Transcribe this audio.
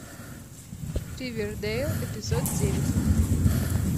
ривердейл эпизод девять